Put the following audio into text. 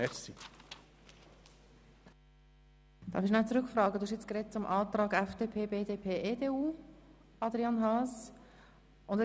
Grossrat Haas, Sie haben nun zum Antrag von FDP, BDP und EDU gesprochen.